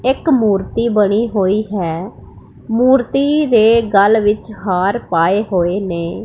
ਇਕ ਮੂਰਤੀ ਬਣੀ ਹੋਈ ਹੈ ਮੂਰਤੀ ਦੇ ਗਲ ਵਿੱਚ ਹਾਰ ਪਾਏ ਹੋਏ ਨੇ।